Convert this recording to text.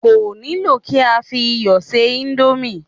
Kò nílò kí á fi iyọ̀ ṣe íńdómì.